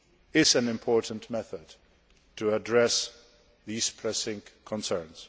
is an important method for addressing these pressing concerns.